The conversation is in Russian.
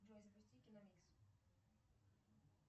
джой запусти киномикс